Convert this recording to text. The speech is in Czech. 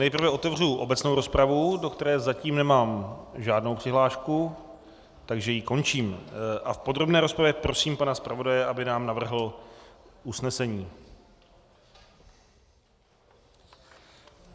Nejprve otevřu obecnou rozpravu, do které zatím nemám žádnou přihlášku, takže ji končím a v podrobné rozpravě prosím pana zpravodaje, aby nám navrhl usnesení.